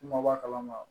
Kuma b'a kalama